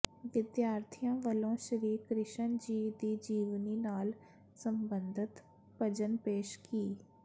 ਵਿਦਿਆਰਥੀਆਂ ਵੱਲੋਂ ਸ਼੍ਰੀ ਕ੍ਰਿਸ਼ਨ ਜੀ ਦੀ ਜੀਵਨੀ ਨਾਲ ਸਬੰਧਤ ਭਜਨ ਪੇਸ਼ ਕੀ